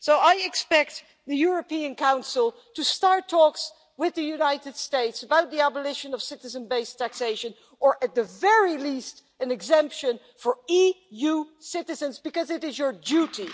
So I expect the European Council to start talks with the United States about the abolition of citizen based taxation or, at the very least, an exemption for EU citizens, because it is your duty.